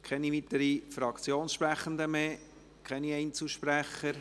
Keine weiteren Fraktionen und keine Einzelsprechende?